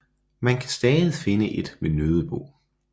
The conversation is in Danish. Man kan stadig finde et ved Nødebo